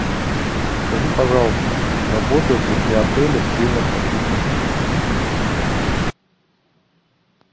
скажи пожалуйста работает ли при отеле тренер по фитнесу